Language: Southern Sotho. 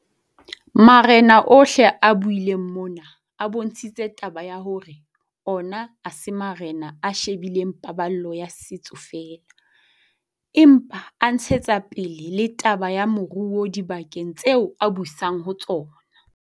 Marena ohle a buileng mona, a bontshitse taba ya hore ona ha se marena a she bileng paballo ya setso feela, empa a ntshetsa pele le taba ya moruo dibakeng tseo a busang ho tsona.